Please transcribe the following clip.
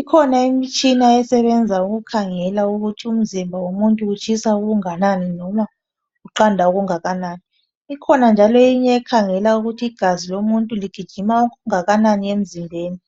ikhona imitshina esebenza ukukhangela ukuthi umzimba womuntu utshisa okungakanani noma Uganda okunganani ikhona njalo eminye ekhangela ukuthi igazi lomuntu ligijima okungakanani emzimbeni